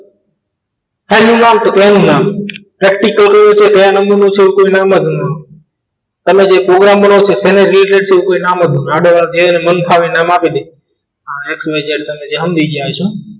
ફાઈલનું નામ તો કે એનું નામ પ્રેક્ટીકલ કયું છે કયા નામથી save કર્યું છે તો નામ જ ન આવે તમે જે પ્રોગ્રામ કરો છો એના related શું કોઈ નામ જ ના આડાઅવળા મન ફાવે નામ આપી દે xyz જે તમે સમજી ગયા હશો